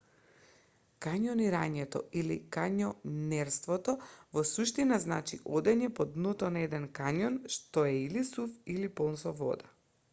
кањонирањето или: кањонерството во суштина значи одење по дното на еден кањон што е или сув или полн со вода